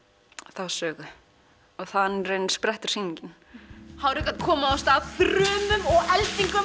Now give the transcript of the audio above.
þá sögu og þannig raunin sprettur sýningin hann reyndi að koma af stað þrumum og eldingum